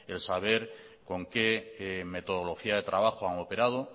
el saber con qué metodología de trabajo han operado